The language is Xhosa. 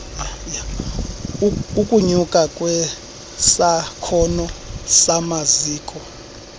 ukunyuka kwesakhono samaziko